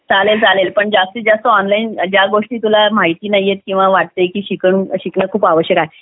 चालेल चालेल पण जास्तीत जास्त ऑनलाईन ज्या काही गोष्टी तुला माहिती नाहीत किंवा शिकणं खूप आवश्यकता आहे